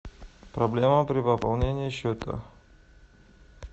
проблема при пополнении счета